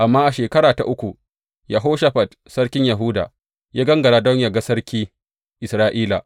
Amma a shekara ta uku, Yehoshafat sarkin Yahuda ya gangara don yă ga sarki Isra’ila.